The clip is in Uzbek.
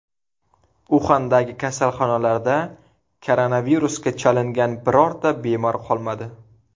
Uxandagi kasalxonalarda koronavirusga chalingan birorta bemor qolmadi.